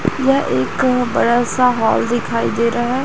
वह एक बड़ा सा हॉल दिखाई दे रहा है।